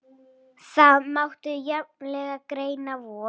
Það mátti jafnvel greina von